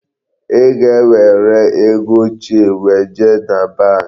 Ị ga-ewere ego ochie weje na bank.